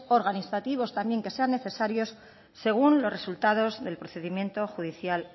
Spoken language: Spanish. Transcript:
organizativos también que sean necesarios según los resultados de procedimiento juridicial